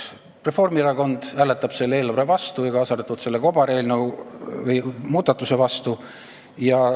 Reformierakond hääletab selle eelnõu vastu, kaasa arvatud selle kobarmuudatuse vastu.